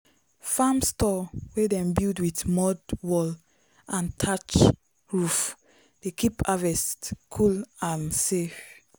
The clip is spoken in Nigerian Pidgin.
farm store wey dem build with mud wall and thatch roof dey keep harvest cool and safe.